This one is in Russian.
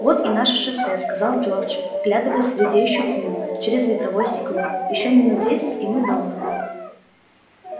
вот и наше шоссе сказал джордж вглядываясь в редеющую тьму через ветровое стекло ещё минут десять и мы дома